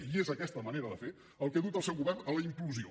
i és aquesta manera de fer el que ha dut el seu govern a la implosió